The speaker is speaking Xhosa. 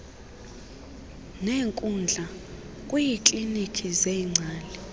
neenkundla kwiiklinkhi zeengcali